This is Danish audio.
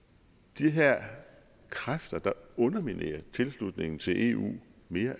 de her kræfter der underminerer tilslutningen til eu mere